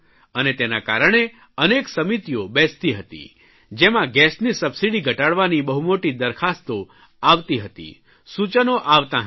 અને તેના કારણે અનેક સમિતિઓ બેસતી હતી જેમાં ગેસની સબસીડી ઘટાડવાની બહુ મોટી દરખાસ્તો આવતી હતી સૂચનો આવતાં હતાં